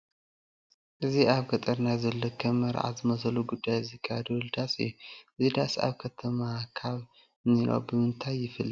እዚ ኣብ ገጠር ናይ ዘሎ ከም መርዓ ዝመስለ ጉዳይ ዝካየደሉ ዳስ እዩ፡፡ እዚ ዳስ ኣብ ከተማ ካብ እንሪኦ ብምንታ ይፍለ?